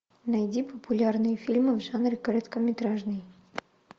найди популярные фильмы в жанре короткометражный